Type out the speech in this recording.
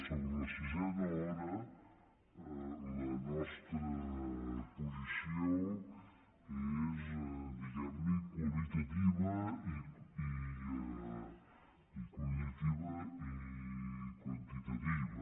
sobre la sisena hora la nostra posició és diguem ne qualitativa i quantitativa